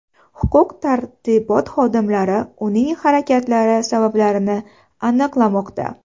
Huquq-tartibot xodimlari uning harakatlari sabablarini aniqlamoqda.